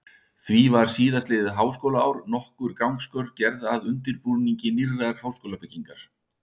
Því var síðastliðið háskólaár nokkur gangskör gerð að undirbúningi nýrrar háskólabyggingar.